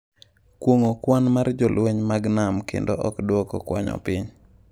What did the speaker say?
Kuong’o kwan mar jolweny mag nam kendo ok dwoko kwanno piny.